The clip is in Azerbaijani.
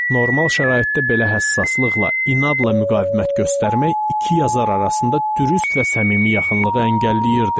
Normal şəraitdə belə həssaslıqla, inadla müqavimət göstərmək iki yazar arasında dürüst və səmimi yaxınlığı əngəlləyirdi.